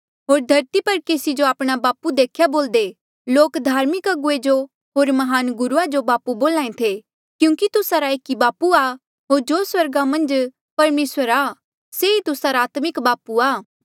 होर धरती पर केसी जो आपणा बापू लोक धार्मिक अगुवे जो होर महान गुरुआ जो बापू बोल्हा ऐें थे देख्या बोल्दे क्यूंकि तुस्सा रा एक ई बापू आ होर जो स्वर्गा मन्झ परमेसर आ से ही तुस्सा रा आत्मिक बापू आ